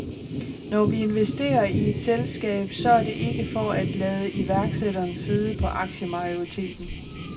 Når vi investerer i et selskab, så er det ikke for at lade iværksætteren sidde på aktiemajoriteten.